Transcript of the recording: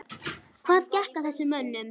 Hvað gekk að þessum mönnum?